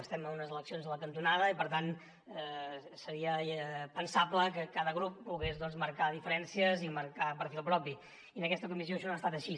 estem amb unes eleccions a la cantonada i per tant seria pensable que cada grup pogués doncs marcar diferències i marcar perfil propi i en aquesta comissió això no ha estat així